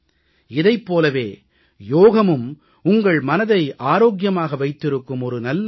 இதைப் போலவே யோகமும் உங்கள் மனதை ஆரோக்கியமாக வைத்திருக்கும் ஒரு நல்ல வழி